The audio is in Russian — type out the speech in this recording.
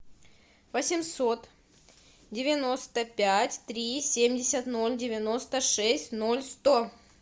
восемьсот девяносто пять три семьдесят ноль девяносто шесть ноль сто